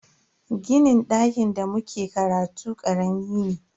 Ginin dakin da muke karatu karami ne.